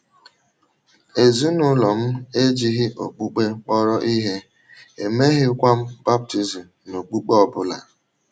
“ Ezinụlọ m ejighị okpukpe kpọrọ ihe, e meghịkwa m baptizim n’okpukpe ọ bụla.